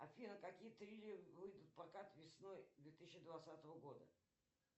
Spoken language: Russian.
афина какие триллеры выйдут в прокат весной две тысячи двадцатого года